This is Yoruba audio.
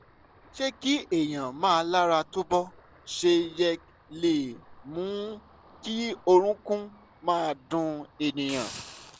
ṣé kí èèyàn má lára tó bó ṣe yẹ le mú kí orókún máa dun ènìyàn?